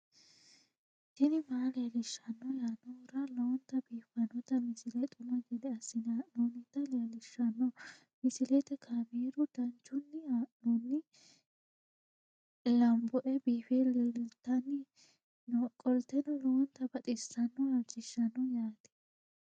tini maa leelishshanno yaannohura lowonta biiffanota misile xuma gede assine haa'noonnita leellishshanno misileeti kaameru danchunni haa'noonni lamboe biiffe leeeltannoqolten lowonta baxissannoe halchishshanno yaate